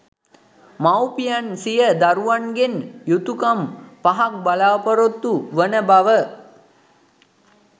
මවුපියන් සිය දරුවන්ගෙන් යුතුකම් පහක් බලාපොරොත්තු වන බව